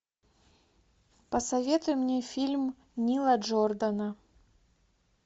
посоветуй мне фильм нила джордана